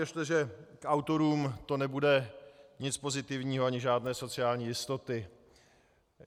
Věřte, že k autorům to nebude nic pozitivního, ani žádné sociální jistoty.